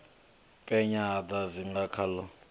penya ho sa dzinga khaḽo